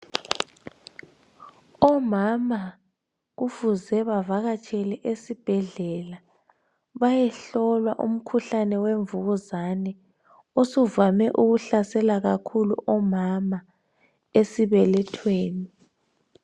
Omama kufuze bavakatshela esibhedlela bayehlolwa umkhuhlane wemvukuzane osuvame ukuhlasela kakhulu omama esibelethweni.